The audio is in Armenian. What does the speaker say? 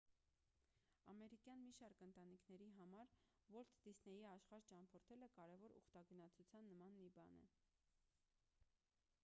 ամերիկյան մի շարք ընտանիքների համար ուոլթ դիսնեյի աշխարհ ճամփորդելը կարևոր ուխտագնացության նման մի բան է